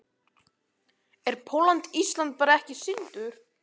Er Pólland-Ísland bara ekki sýndur?